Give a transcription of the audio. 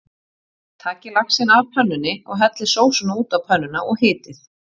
Takið laxinn af pönnunni og hellið sósunni út á pönnuna og hitið.